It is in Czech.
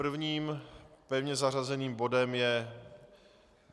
Prvním pevně zařazením bodem je